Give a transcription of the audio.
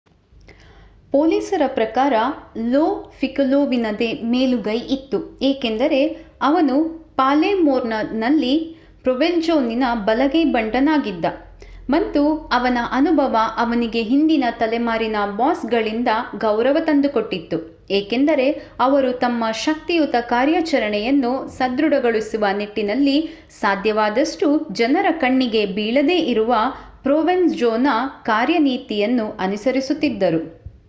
ಪೊಲೀಸರ ಪ್ರಕಾರ ಲೋ ಪಿಕೋಲೊವಿನದೇ ಮೇಲುಗೈ ಇತ್ತು ಏಕೆಂದರೆ ಅವನು ಪಾಲೆ ರ್ಮೋನಲ್ಲಿ ಪ್ರೊವೆನ್ಜೋವಿನ ಬಲಗೈ ಬಂಟನಾಗಿದ್ದ ಮತ್ತು ಅವನ ಅನುಭವ ಅವನಿಗೆ ಹಿಂದಿನ ತಲೆಮಾರಿನ ಬಾಸ್ಗಳಿಂದ ಗೌರವ ತಂದುಕೊಟ್ಟಿತ್ತು ಏಕೆಂದರೆ ಅವರು ತಮ್ಮ ಶಕ್ತಿಯುತ ಕಾರ್ಯಾಚರಣೆಯನ್ನು ಸದೃಡಗೊಳಿಸುವ ನಿಟ್ಟಿನಲ್ಲಿ ಸಾಧ್ಯವಾದಷ್ಟೂ ಜನರ ಕಣ್ಣಿಗೆ ಬೀಳದೆ ಇರುವ ಪ್ರೊವೆನ್ ಜೊನ ಕಾರ್ಯನೀತಿಯನ್ನು ಅನುಸರಿಸುತ್ತಿದ್ದರು